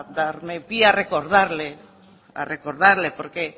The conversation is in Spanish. por darme pie a recordarle porque